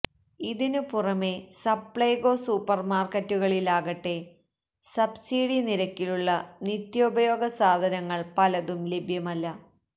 ഇതിനു പുറമെ സപ്ലെകോ സൂപ്പര് മാര്ക്കറ്റുകളിലാകട്ടെ സബ്സിഡി നിരക്കിലുള്ള നിത്യോപയോഗ സാധനങ്ങള് പലതും ലഭ്യമല്ല